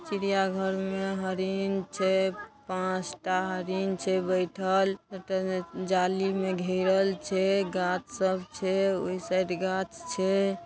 चिड़िया घर में हरिन छै पांच टा हरिन छै बैठल जाली में घेरल छै गाछ सब छै ओय साइड गाछ छै।